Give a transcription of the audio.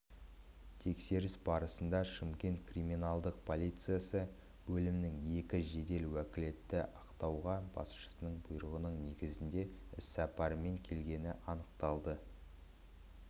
тексеріс барысында шымкент криминалдық полициясы бөлімінің екі жедел уәкілі ақтауға басшысының бұйрығының негізінде іссапармен келгені анықталды